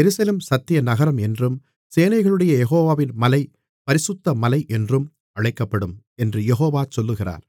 எருசலேம் சத்திய நகரம் என்றும் சேனைகளுடைய யெகோவாவின் மலை பரிசுத்த மலை என்றும் அழைக்கப்படும் என்று யெகோவா சொல்லுகிறார்